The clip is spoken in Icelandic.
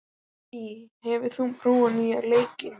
Þyrí, hefur þú prófað nýja leikinn?